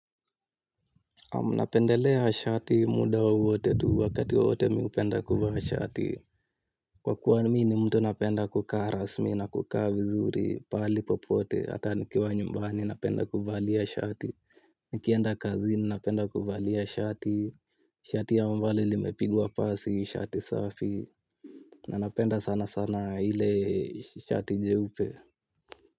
Naam napendelea shati muda wowote tu wakati wowote mi upenda kuvaa shati. Kwa kuwa mi ni mtu napenda kukaa rasmi na kukaa vizuri pahali popote ata nikiwa nyumbani napenda kuvalia shati. Nikienda kazini napenda kuvalia shati. Shati ambalo limepigwa pasi shati safi. Na napenda sana sana ile shati jeupe.